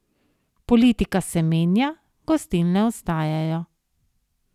Politika se menja, gostilne ostajajo!